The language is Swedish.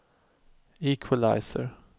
equalizer